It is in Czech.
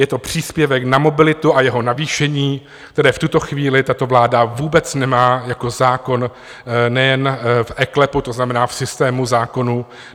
Je to příspěvek na mobilitu a jeho navýšení, které v tuto chvíli tato vláda vůbec nemá jako zákon nejen v eKLEPu, to znamená v systému zákonů.